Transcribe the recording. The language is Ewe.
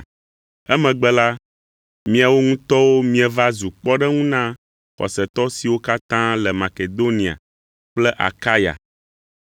Emegbe la, miawo ŋutɔwo mieva zu kpɔɖeŋu na xɔsetɔ siwo katã le Makedonia kple Akaya.